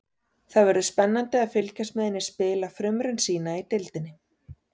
Það verður spennandi að fylgjast með henni spila frumraun sína í deildinni.